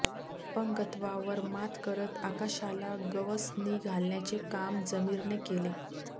अपंगत्वावर मात करत आकाशाला गवसणी घालण्याचे काम जमीरने केले